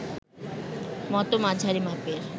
মতো মাঝারি মাপের